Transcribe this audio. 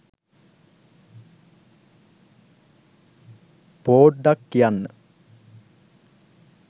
පෝඩ්ඩක් කියන්න